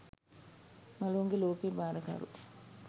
මලවුන්ගෙ ලෝකයෙ භාරකරු